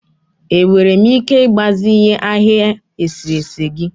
Enwere m ike ịgbazinye ahịhịa eserese gị?